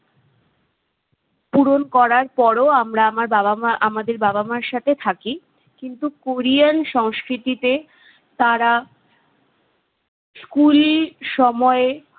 পূরণ করার পরও আমরা আমার বাবা মা আমাদের বাবা মার সাথে থাকি। কিন্তু কোরিয়ান সংস্কৃতিতে তারা school সময়ে